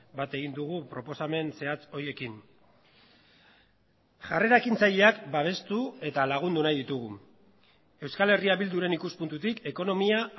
bat egin dugu proposamen zehatz horiekin jarrera ekintzaileak babestu eta lagundu nahi ditugu euskal herria bilduren ikuspuntutik ekonomia